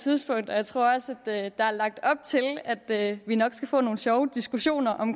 tidspunkt og jeg tror også at der er lagt op til at vi nok skal få nogle sjove diskussioner om